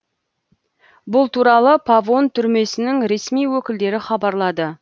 бұл туралы павон түрмесінің ресми өкілдері хабарлады